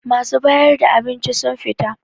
Masu bayar da abinci sun fita